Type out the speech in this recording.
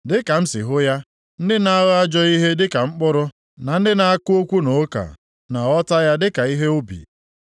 Dịka m si hụ ya, ndị na-agha ajọ ihe dịka mkpụrụ na ndị na-akụ okwu na ụka na-aghọta ya dịka ihe ubi.